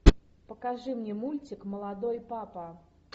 покажи мне мультик молодой папа